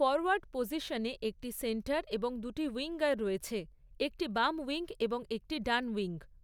Forward পজিশনে একটি centre এবং দুটি উইঙ্গার রয়েছে, একটি বাম উইঙ্গ এবং একটি ডান উইঙ্গ।